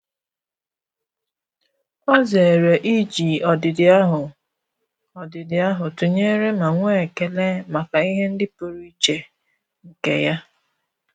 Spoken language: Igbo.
Ọ́ zèrè íjí ọ́dị́dị́ áhụ́ ọ́dị́dị́ áhụ́ tụnyere ma nwee ekele màkà ihe ndị pụ́rụ́ iche nke ya.